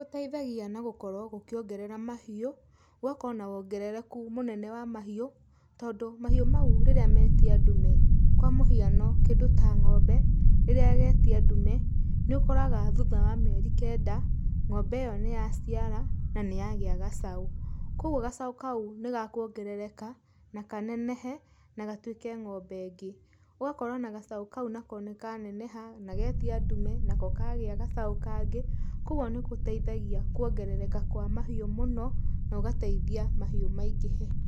Nĩ gũteithagia na gũkorwo gũkĩongerera mahiũ, gũgakorwo na wongerereku mũnene wa mahiũ, tondũ mahiũ mau rĩria metia ndume, kwa mũhiano kĩndũ ta ngombe rĩrĩa ĩgetia ndume, nĩ ũkoraga thutha wa mĩeri kenda, ngombe ĩyo nĩ yaciara na nĩ yagĩa gacau. Kogwo gacau kau nĩ gakũongerereka na kanenehe na gatuĩke ngombe ĩngĩ. Ũgakora ona gacau kau nako nĩ kaneneha na getia ndume, nako kagĩa gacau kangĩ, kogwo nĩ gũteithagia kuongerereka kwa mahiũ mũno na ũgateithia mahiũ maingĩhe.